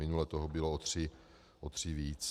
Minule toho bylo o tři víc.